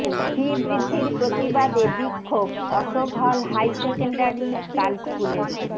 ফি বৃদ্ধির প্রতিবাদে বিক্ষোভ Ashok hall high secondary girls স্কুলে